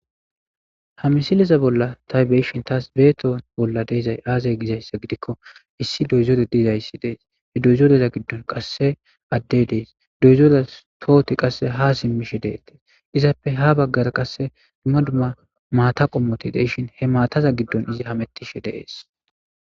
ha misileza bolla ta beyshin tas beeto bolla de7izayssi aazee giizayssa gidikko issi doyzore diizayssi dees he doyzoreza giddon qasse addey dees doyzore tooti qasse ha simmishe deettees izappe ha baggara qasse duma dumma maata qommoti de7ishin he maataza giddon izi hamettishe de7ees